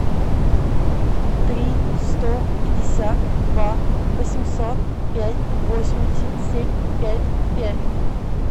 три сто пятьдесят два восемьсот пять восемьдесят семь пять пять